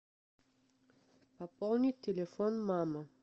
пополнить телефон мамы